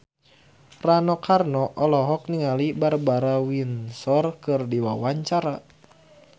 Rano Karno olohok ningali Barbara Windsor keur diwawancara